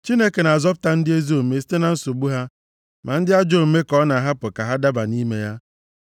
Chineke na-azọpụta ndị ezi omume site na nsogbu ha, ma ndị ajọ omume ka ọ na-ahapụ ka ha daba nʼime ya.